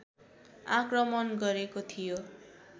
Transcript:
आक्रमण गरेको थियो